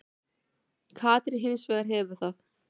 Katrín hins vegar hefur það.